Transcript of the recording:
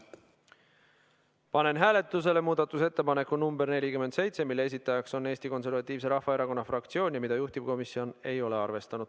Panen hääletusele muudatusettepaneku nr 47, mille on esitanud Eesti Konservatiivse Rahvaerakonna fraktsioon ja mida juhtivkomisjon ei ole arvestanud.